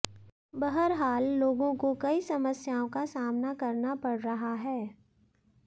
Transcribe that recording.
बहरहाल लोगों को कई समस्याओं का सामना करना पड़ रहा है